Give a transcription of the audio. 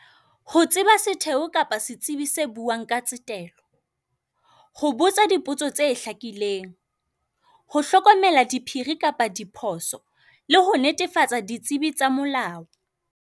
Ho tseba setheo kapa setsibi se buang ka tsetelo, ho botsa dipotso tse hlakileng, ho hlokomela diphiri kapa diphoso, le ho netefatsa ditsebi tsa molao.